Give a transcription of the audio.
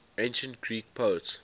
ancient greek poets